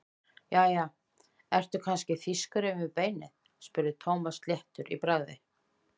Jæja, ertu kannski þýskur inni við beinið? spurði Thomas léttur í bragði.